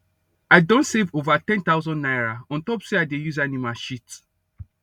i don save over ten thousand naira ontop say i dey use animal shit